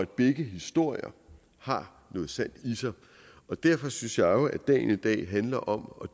begge historier har noget sandt i sig derfor synes jeg jo at dagen i dag handler om